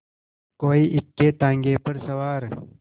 कोई इक्केताँगे पर सवार